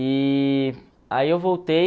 E aí eu voltei.